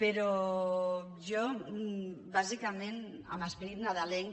però jo bàsicament amb esperit nadalenc